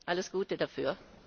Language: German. Alles Gute dafür!